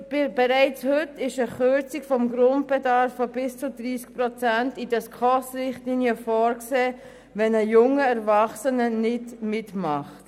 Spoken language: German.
Bereits heute ist eine Kürzung des Grundbedarfs von bis zu 30 Prozent in den SKOS-Richtlinien vorgesehen, wenn ein junger Erwachsener nicht mitmacht.